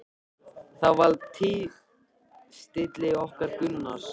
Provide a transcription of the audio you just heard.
Það var fyrir tilstilli okkar Gunnars